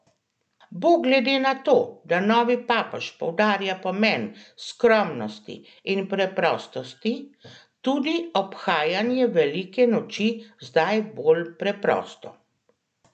Bo glede na to, da novi papež poudarja pomen skromnosti in preprostosti, tudi obhajanje velike noči zdaj bolj preprosto?